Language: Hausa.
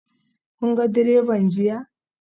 Kun ga direban jiya?